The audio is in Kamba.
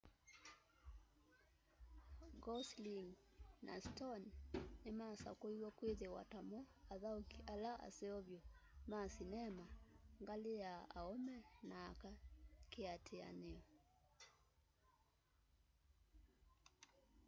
gosling na stone nimasakuiwe kwithiwa tamo athauki ala aseo vyu ma sinema ngali na aume na aka kiatianio